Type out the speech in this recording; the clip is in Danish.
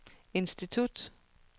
institut